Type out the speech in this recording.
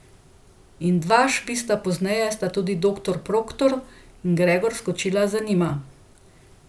In dva švista pozneje sta tudi doktor Proktor in Gregor skočila za njima.